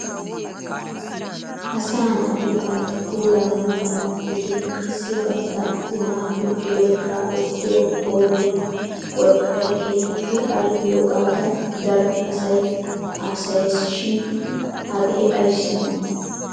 Asaa naati bantta puulaa naaganawu gidin qassi bantta azinaappe cilooshaa ekkiyo qooriya worqqay keehippe al'iyogaadan daro asay haasayes shin hagee ayissi hanii?